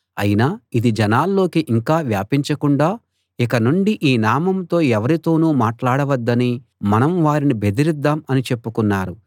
అయినా ఇది జనాల్లోకి యింకా వ్యాపించకుండా ఇకనుండి ఈ నామంతో ఎవరితోనూ మాట్లాడవద్దని మనం వారిని బెదిరిద్దాం అని చెప్పుకున్నారు